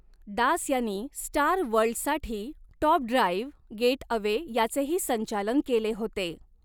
दास यांनी स्टार वर्ल्डसाठी top drive getaway याचेही संचालन केले होते.